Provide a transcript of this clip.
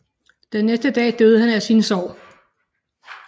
Den næste dag døde han af sine sår